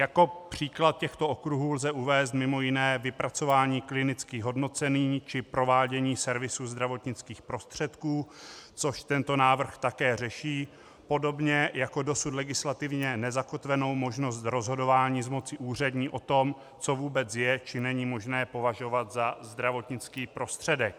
Jako příklad těchto okruhů lze uvést mimo jiné vypracování klinických hodnocení či provádění servisu zdravotnických prostředků, což tento návrh také řeší, podobně jako dosud legislativně nezakotvenou možnost rozhodování z moci úřední o tom, co vůbec je, či není možné považovat za zdravotnický prostředek.